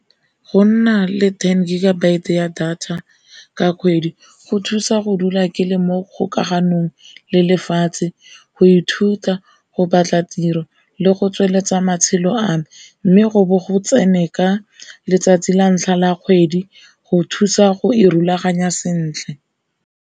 Go nna le ten gigabyte ya data ka kgwedi go thusa go dula ke le mo kgokaganong le lefatshe, go ithuta, go ba tla tiro le go tsweletsa matshelo a me. Mme go bo go tsene ka letsatsi la ntlha la kgwedi go thusa go e rulaganya sentle.